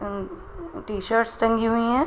अ T shirts टंगी हुई हैं।